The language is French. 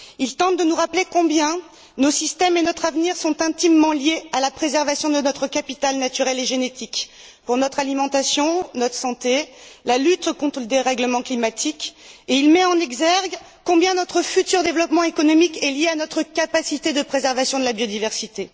Il tente de nous rappeler combien nos systèmes et notre avenir sont intimement liés à la préservation de notre capital naturel et génétique, pour notre alimentation, notre santé et la lutte contre le dérèglement climatique, et il met en exergue combien notre futur développement économique est lié à notre capacité de préservation de la biodiversité.